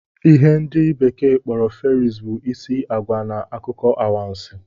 ihe ndi bekee kporo Fairies, bụ isi agwa na akụkọ anwansi